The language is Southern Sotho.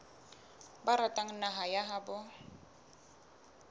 ba ratang naha ya habo